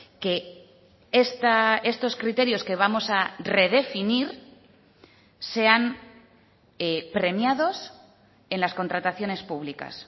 que estos criterios que vamos a redefinir sean premiados en las contrataciones públicas